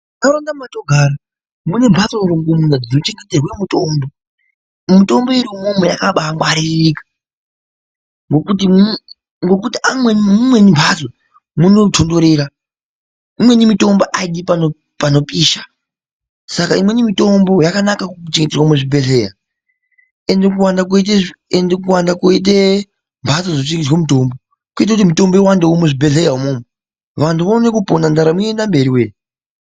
Mundaraunda matogara mune mbatso rongomuna dzinochengeterwa mutombo mitombo iri imwomwo yakabangwaririka ngekuti amweni muimweni mbatso munotondorera amweni mitombo aidi panopisha Saka imweni mitombo yakanaka kuchengerwa muzvibhedhlera ende kuwanda koite mbatso dzinochengeterwa mutombo koita kuti mitombo iwande muzvibhedhlera imomo vantu vaone kupona ndaramo iwande.